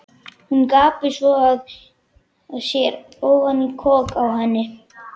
Hún gapir svo að sér ofan í kok á henni.